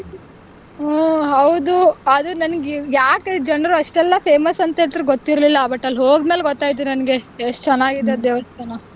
ಹ್ಮ್ ಹೌದು ಅದು ನಂಗ್ ಯಾಕ್ ಜನರು ಅಷ್ಟೊಂದ್ famous ಅಂತ ಹೇಳ್ತಾರೆ ಗೊತ್ತಿರ್ಲಿಲ್ಲ but ಅಲ್ಲಿ ಹೋದ್ ಮೇಲೆ ಗೊತ್ತಾಯ್ತು ನನ್ಗೆ ಎಷ್ಟ್ ಚೆನ್ನಾಗಿದೆ ದೇವಾಸ್ಥಾನ.